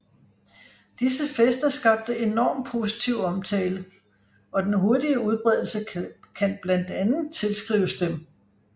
Disse fester skabte enorm positiv omtale og den hurtige udbredelse kan blandt andet tilskrives dem